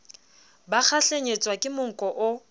ba kgahlenyetswa ke monko o